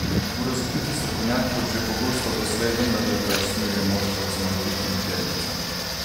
Bo razvpiti strokovnjak kot že pogosto doslej vendarle preusmeril moštvo k zmagovitim tirnicam?